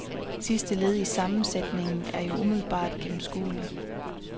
Sidste led i sammensætningen er jo umiddelbart gennemskueligt.